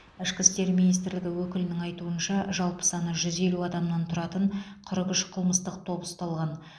ішкі істер минитсрлігі өкілінің айтуынша жалпы саны жүз елу адамнан тұратын қырық үш қылмыстық топ ұсталған